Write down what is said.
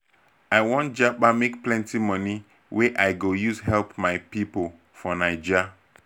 i wan japa make plenty money wey i go use help my pipo for naija.